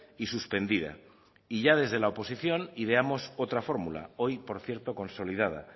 y suspendida y ya desde la oposición ideamos otra fórmula hoy por cierto consolidada